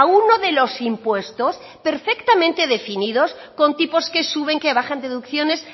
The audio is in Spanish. uno de los impuestos perfectamente definidos con tipos que suben que bajan deducciones